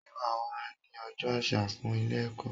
Sé wà á wá ní ojó àsà fún Ilé èkó?